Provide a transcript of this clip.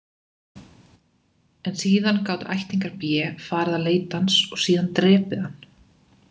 En síðan gátu ættingjar B farið að leita hans og síðan drepið hann.